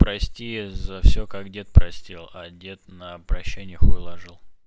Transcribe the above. прости за все как дед простил а дед на обращение хуй ложил